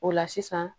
O la sisan